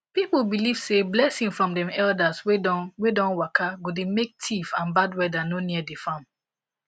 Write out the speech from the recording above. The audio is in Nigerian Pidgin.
people believe say blessing from dem elders wey don wey don waka go dey make thief and bad weather no near the farm